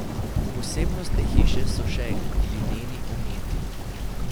Posebnost te hiše so še glineni ometi.